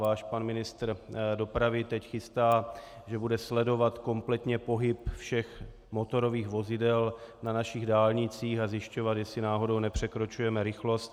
Váš pan ministr dopravy teď chystá, že bude sledovat kompletně pohyb všech motorových vozidel na našich dálnicích a zjišťovat, jestli náhodou nepřekračujeme rychlost.